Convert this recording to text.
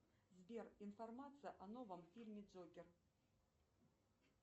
сбер информация о новом фильме джокер